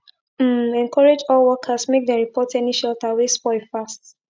um encourage all workers make dem report any shelter wey spoil fast